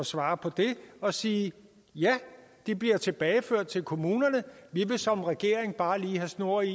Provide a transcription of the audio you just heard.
svare på det og sige ja de bliver tilbageført til kommunerne vi vil som regering bare lige have snor i